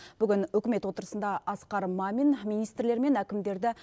бүгін үкімет отырысында асқар мамин министрлер мен әкімдерді